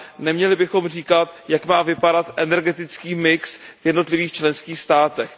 neměli bychom říkat, jak má vypadat energetický mix v jednotlivých členských státech.